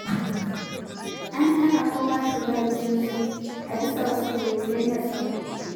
An hana kowa shiga gidan sarki, a bisa wasu dalilai na tsaro.